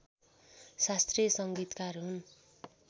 शास्त्रीय संगीतकार हुन्